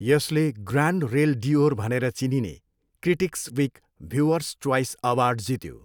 यसले Grand Rail d'Or भनेर चिनिने critics week viewers choice award जित्यो।